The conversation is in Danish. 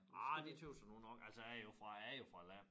Ah det tøs jeg nu nok altså jeg er jo fra æ land